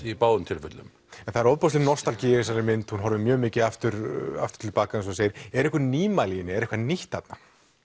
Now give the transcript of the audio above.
í báðum tilfellum en það er ofboðsleg nostalgía í þessari mynd hún horfir mjög mikið aftur aftur tilbaka eins og þú segir eru einhver nýmæli í henni er eitthvað nýtt þarna